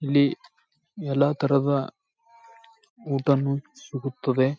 ಇಲ್ಲಿ ಎಲ್ಲ ತರಹದ ಊಟನು ಸಿಗುತ್ತದೆ.